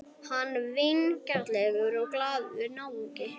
Hann var vingjarnlegur og glaðlegur náungi.